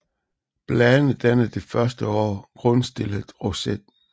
Bladene danner det første år en grundstillet roset